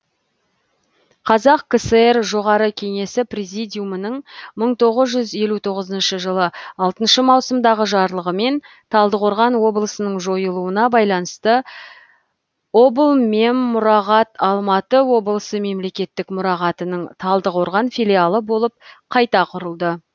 қазақ кср жоғары кеңесі президиумының мың тоғыз жүз елу тоғызыншы жылы алтыншы маусымдағы жарлығымен талдықорған облысының жойылуына байланысты облмеммұрағат алматы облысы мемлекеттік мұрағатының талдықорған филиалы болып қайта құрылды